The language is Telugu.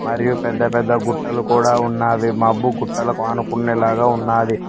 మరియు పెద్ద పెద్ద గుట్టలు కూడా ఉన్నావి మబ్బు గుట్టలకు అనుకునే లాగా ఉన్నాది.